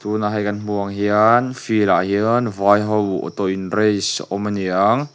tuna hei kan hmuh ang hian field ah hian vai ho auto in race a awm aniang--